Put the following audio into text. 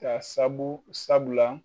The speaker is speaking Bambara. Ka sabula sabula la